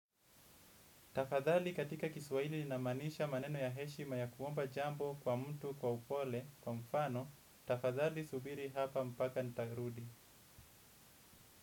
Tafadhali, katika Kiswahili humaanisha maneno ya heshima ya kuomba jambo kwa mtu kwa upole, kwa mfano, tafadhali subiri hapa hadi nitakaporudi.